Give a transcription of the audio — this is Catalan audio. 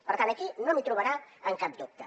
per tant aquí no m’hi trobarà amb cap dubte